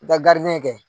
I ka kɛ